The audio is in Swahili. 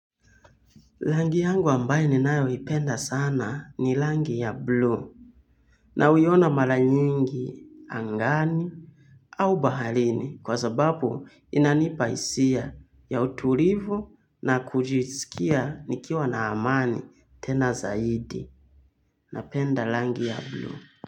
Langi yangu ambayo ninayoipenda sana ni langi ya blue nauiona mara nyingi angani au bahalini kwa sababu inanipa isia ya utulivu na kujiskia nikiwa na amani tena zaidi napenda langi ya blue.